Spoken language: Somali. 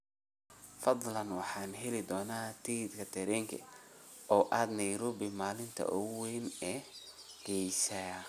Fadlan, waxaan heli doonaa tigidh tareen oo aad Nairobi maalinta ugu weyn ee geesiyaasha